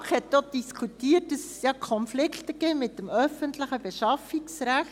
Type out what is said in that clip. Die BaK hat auch diskutiert, dass es Konflikte gibt mit dem öffentlichen Beschaffungsrecht.